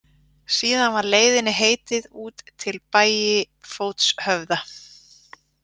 Síðan var leiðinni heitið út til Bægifótshöfða.